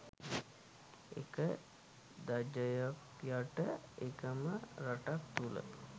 එක ධජයක් යට එකම රටක් තුළ